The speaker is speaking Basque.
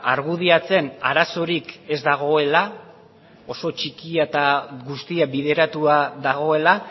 argudiatzen arazorik ez dagoela oso txikia eta guztia bideratua dagoela